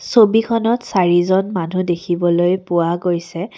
ছবিখনত চাৰিজন মানুহ দেখিবলৈ পোৱা গৈছে।